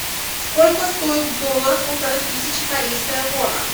сколько стоит в долларах полторы тысячи корейская вона